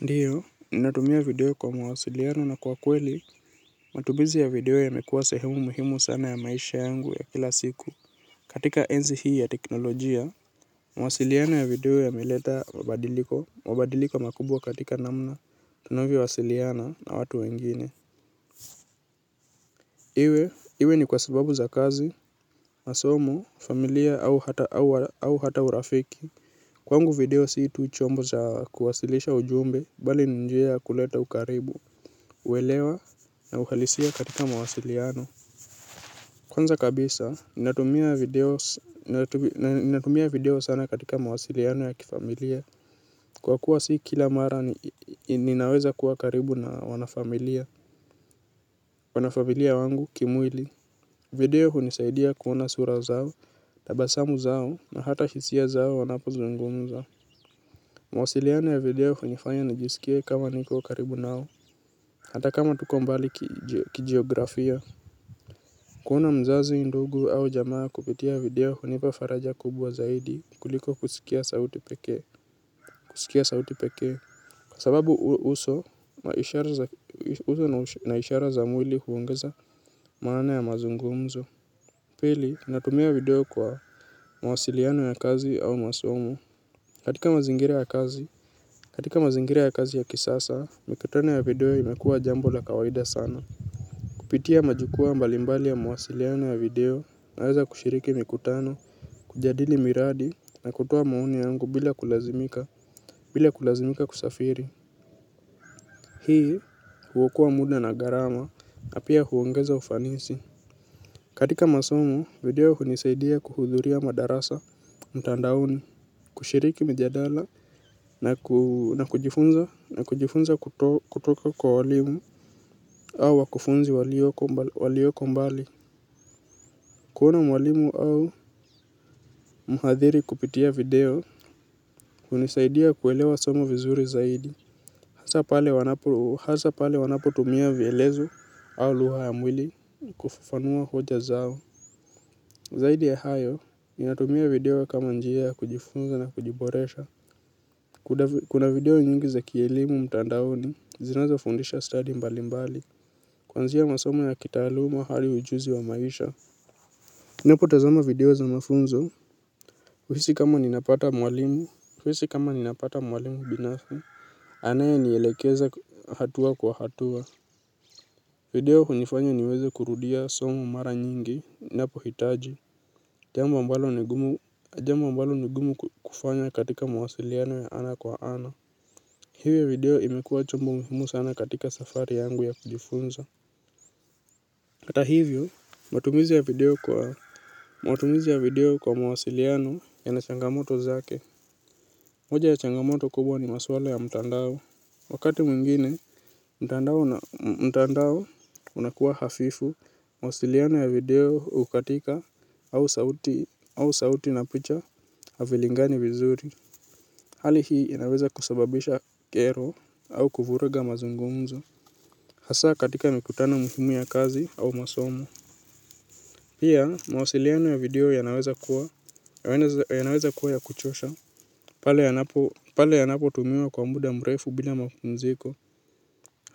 Ndiyo, ninatumia video kwa mawasiliano na kwa kweli, matumizi ya video yamekuwa sehemu muhimu sana ya maisha yangu ya kila siku. Katika enzi hii ya teknolojia, mawasiliano ya video yameleta mabadiliko, mabadiliko makubwa katika namna, tunavyowasiliana na watu wengine. Iwe, iwe ni kwa sababu za kazi, masomo, familia au hata urafiki. Kwangu video si tu chombo za kuwasilisha ujumbe, bali ni njia ya kuleta ukaribu. Uelewa na uhalisia katika mawasiliano kwanza kabisa, ninatumia video sana katika mawasiliano ya kifamilia. Kwa kuwa si kila mara ninaweza kuwa karibu na wanafamilia wanafamilia wangu kimwili. Video hunisaidia kuona sura zao, tabasamu zao na hata hisia zao wanapozungumza. Mawasiliano ya video hunifanya nijisikie kama niko karibu nao. Hata kama tuko mbali kijiografia. Kuona mzazi ndugu au jamaa kupitia video hunipa faraja kubwa zaidi kuliko kusikia sauti pekee. Kwa sababu uso na ishara za mwili huongeza maana ya mazungumzo. Pili natumia video kwa mawasiliano ya kazi au masomo. Katika mazingira ya kazi ya kisasa, mikutano ya video imekuwa jambo la kawaida sana. Kupitia majukwaa mbali mbali ya mawasiliano ya video naweza kushiriki mikutano, kujadili miradi na kutoa maoni yangu bila kulazimika kusafiri. Hii huokoa muda na gharama na pia huongeza ufanisi. Katika masomo, video hunisaidia kuhudhuria madarasa mtandaoni, kushiriki mjadala na kujifunza kutoka kwa walimu au wakufunzi walioko mbali. Kuona mwalimu au muhathiri kupitia video hunisaidia kuelewa somo vizuri zaidi. Hasa pale wanapotumia vielezo au lugha ya mwili kufufanua hoja zao. Zaidi ya hayo, ninatumia video kama njia ya kujifunza na kujiboresha. Kuna video nyingi za kielimu mtandaoni, zinaeza fundisha stadi mbalimbali. Kuanzia masomo ya kitaaluma hali ujuzi wa maisha. Nipotazama video za mafunzo. Kuhisi kama ninapata mwalimu binafsi anayenielekeza hatua kwa hatua. Video hunifanya niweze kurudia somo mara nyingi ninapohitaji. Jambo ambalo ni gumu kufanya katika mawasiliano ya ana kwa ana. Hivo video imekuwa chombo muhimu sana katika safari yangu ya kujifunza. Kata hivyo, matumizi ya video kwa mawasiliano yana changamoto zake. Moja ya changamoto kubwa ni maswala ya mtandao. Wakati mwingine, mtandao unakuwa hafifu, mawasiliano ya video hukatika au sauti na picha havilingani vizuri. Hali hii inaweza kusababisha kero au kuvuruga mazungumzo. Hasa katika mikutano muhimu ya kazi au masomo. Pia, mawasiliano ya video yanaweza kuwa ya kuchosha pale yanapotumiwa kwa muda mrefu bila mapumziko